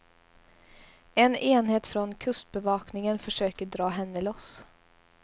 En enhet från kustbevakningen försöker dra henne loss.